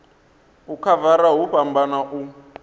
u khavara hu fhambana u